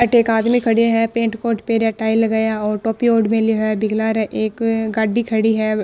अठे एक आदमी खड़यो है पेण्ट कोट पहरिया टाई लगाया और टोपी ओढ़ मिल्यो है बीके लारे एक गाड़ी खड़ी है।